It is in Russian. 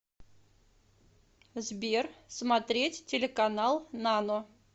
сбер смотреть телеканал нано